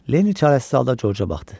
Lenny çarəsiz halda George-a baxdı.